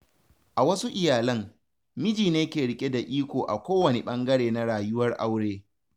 A wasu iyalan, miji ne ke riƙe da iko a kowane ɓangare na rayuwar aure.